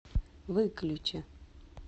выключи